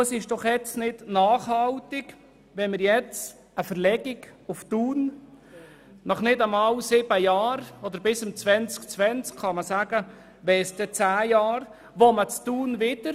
Es ist doch nicht nachhaltig, wenn wir nach nicht einmal sieben Jahren – oder zehn Jahren bis 2020 – eine Verlegung nach Thun erwägen.